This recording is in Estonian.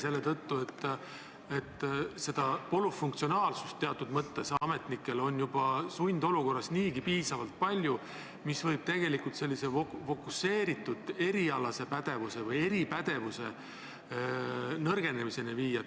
Ametnikel on sundolukorras seda nõutavat polüfunktsionaalsust niigi piisavalt palju ja see võib tegelikult nendelt nõutava nn eripädevuse nõrgenemiseni viia.